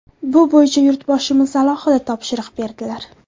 Bu bo‘yicha Yurtboshimiz alohida topshiriq berdilar.